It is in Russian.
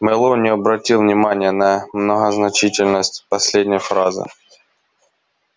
мэллоу не обратил внимания на многозначительность последней фразы